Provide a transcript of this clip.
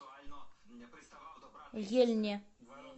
ельне